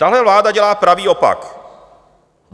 Tahle vláda dělá pravý opak.